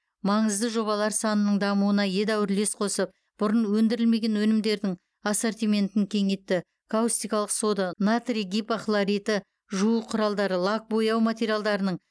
маңызды жобалар санының дамуына едәуір үлес қосып бұрын өндірілмеген өнімдердің ассортиментін кеңейтті каустикалық сода натрий гипохлориті жуу құралдары лак бояу материалдарының